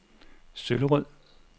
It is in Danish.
Søllerød